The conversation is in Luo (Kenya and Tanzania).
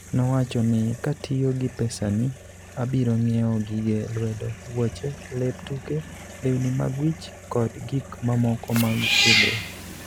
Nowachoni, "Katiyo gi pesani, abiro ng'iewo gige lwedo, wuoche, lep tuke, lewni mag wich, kod gik mamoko mag tiegruok.